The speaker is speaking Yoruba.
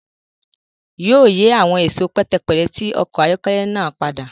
Yóò yì awọn ẹṣọ pẹtẹpẹtẹ ti ọkọ ayọkẹlẹ náà pada